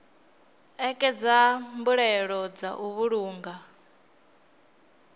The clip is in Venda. ṋekedza mbuelo dza u vhulunga